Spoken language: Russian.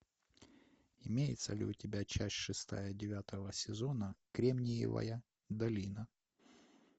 имеется ли у тебя часть шестая девятого сезона кремниевая долина